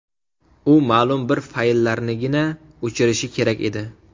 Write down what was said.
U ma’lum bir fayllarnigina o‘chirishi kerak edi.